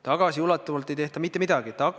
Tagasiulatuvalt ei tehta mitte midagi!